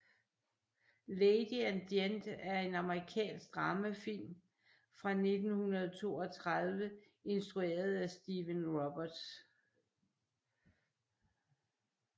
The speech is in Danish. Lady and Gent er en amerikansk dramafilm fra 1932 instrueret af Stephen Roberts